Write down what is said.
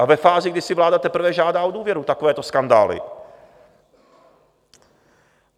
A ve fázi, kdy si vláda teprve žádá o důvěru, takovéto skandály.